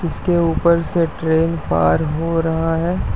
इसके ऊपर से ट्रेन पार हो रहा है।